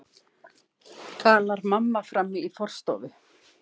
galar mamma frammi í forstofu.